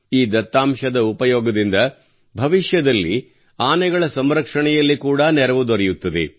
ಈ ದತ್ತಾಂಶದ ಉಪಯೋಗದಿಂದ ಭವಿಷ್ಯದಲ್ಲಿ ಆನೆಗಳ ಸಂರಕ್ಷಣೆಯಲ್ಲಿ ಕೂಡಾ ನೆರವು ದೊರೆಯುತ್ತದೆ